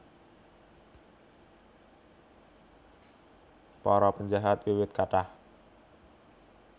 Para penjahat wiwit kathah